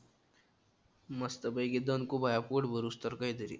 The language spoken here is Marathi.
मस्तपैकी दणकु बघ या पोट भरुस्तर काहीतरी.